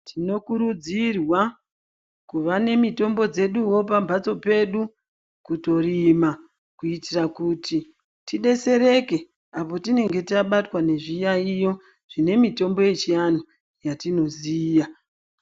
Tinokurudzirwa kuva nemitombo dzeduwo pamhatso pedu kutorima kuitira kuti tidetsereke apo tinenge tabatwa ngezviyaiyo zvine mitombo yechiantu yatinoziya.